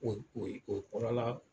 kori kori k'o kɔrɔla